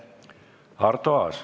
Arto Aas.